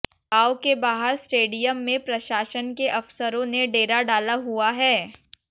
गांव के बाहर स्टेडियम में प्रशासन के अफसरों ने डेरा डाला हुआ है